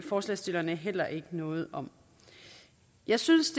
forslagsstillerne heller ikke noget om jeg synes